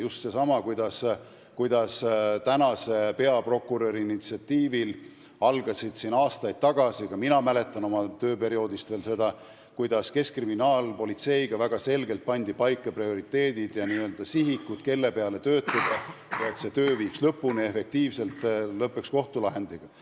Ma mäletan oma tööperioodist hästi, kuidas praeguse peaprokuröri initsiatiivil kehtestati aastaid tagasi koos keskkriminaalpolitseiga väga selged prioriteedid ja sihikud, et töö efektiivselt lõpuni viia, et see lõppeks kohtulahendiga.